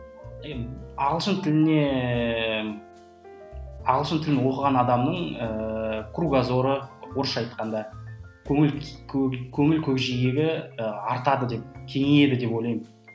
енді ағылшын тіліне ағылшын тілін оқыған адамның ыыы кругозоры орысша айтқанда көңіл көңіл көкжиегі ы артады деп кеңейеді деп ойлаймын